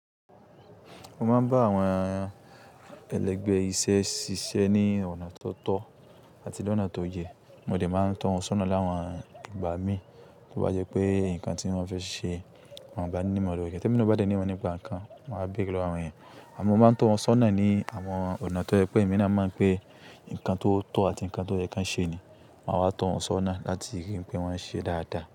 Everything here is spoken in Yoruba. Mo máa ń bá àwọn ẹlẹgbẹ́ iṣẹ́ ṣiṣẹ́ ní ọ̀nà tó tọ́ àti ní ọ̀nà tó yẹ. Mo de máa ń to wọ́n sónà láwọn ìgbà mí, tó bá jẹ́ pé nǹkan tí wọ́n fẹ́ ṣe, wọ́n ò bá ní ìmọ̀ràn yẹn. Tẹ́mina o bí mo bá dé ní ìmọ̀ nípa nǹkan, màá béèrè lọ àwọn èèyàn. Àmọ́ mo máa ń to wọ́n sónà ní àwọn ọ̀nà tó jẹ pé èmi náà mọ̀ pé nǹkan tó tọ́ àti nǹkan tó yẹ kí wọ́n ṣe ni. Màá wá to wọ́n sónà láti rí i pé wọ́n ṣe dáadáa.